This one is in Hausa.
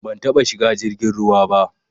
Ban taɓa shiga jirgin ruwa ba.